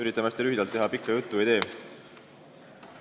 Üritan hästi lühidalt teha, pikka juttu ei tule.